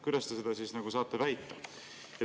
Kuidas te siis saate seda väita?